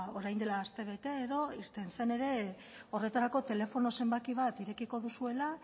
orain dela astebete edo irten zen ere horretarako telefono zenbaki bat irekiko duzuela